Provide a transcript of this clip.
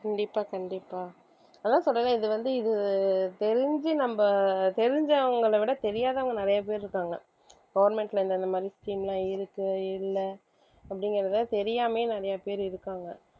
கண்டிப்பா கண்டிப்பா அதான் சொல்றேனே இது வந்து இது தெரிஞ்சு நம்ப தெரிஞ்சவங்கள விட தெரியாதவங்க நிறைய பேர் இருக்காங்க government ல இந்த இந்த மாதிரி scheme எல்லாம் இருக்கு இல்ல அப்படிங்கிறத தெரியாமயே நிறைய பேர் இருக்காங்க